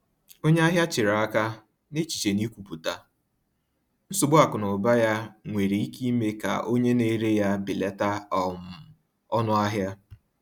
Onye ahịa chere aka, n’echiche na ikwupụta nsogbu akụ na ụba ya nwere ike ime ka onye na-ere ya belata um ọnụahịa.